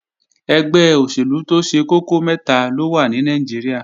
Ẹgbẹ́ òṣèlú tó ṣe kókó mẹ́ta ló wà ní Nàìjíríà